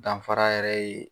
Danfara yɛrɛ ye